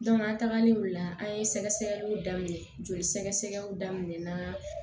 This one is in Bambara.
an tagalen o la an ye sɛgɛsɛgɛliw daminɛ joli sɛgɛsɛgɛw daminɛ na